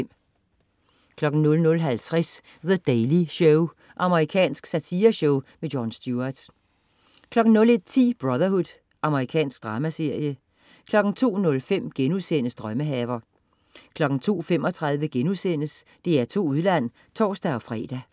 00.50 The Daily Show. Amerikansk satireshow. Jon Stewart 01.10 Brotherhood. Amerikansk dramaserie 02.05 Drømmehaver* 02.35 DR2 Udland* (tors-fre)